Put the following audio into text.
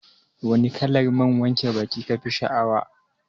Wane kalar man wanke baki kafi sha'awa?